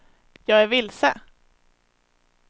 jag är vilse